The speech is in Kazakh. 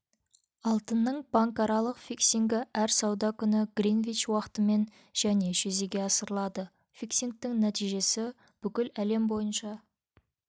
алтынның банкаралық фиксингі әр сауда күні гринвич уақытымен және жүзеге асырылады фиксингтің нәтижесі бүкіл әлем бойынша